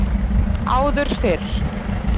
Áður fyrr